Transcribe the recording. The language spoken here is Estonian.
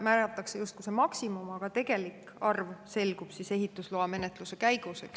Määratakse justkui see maksimum, aga tegelik arv selgub ehitusloamenetluse käigus.